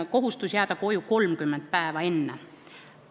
Kohustus on jääda koju 30 päeva enne sünnitust.